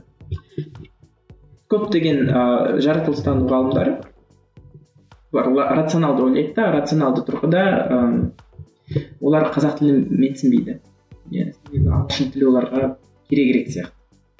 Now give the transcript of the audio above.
көптеген ыыы жаратылыстану ғалымдар олар рационалды ойлайды да рационалды тұрғыда ыыы олар қазақ тілін менсінбейді иә ағылшын тілі оларға керегірек сияқты